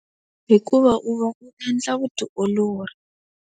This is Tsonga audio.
Hikuva u va u endla vutiolori.